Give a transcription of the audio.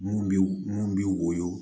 Mun bi mun b'i woyo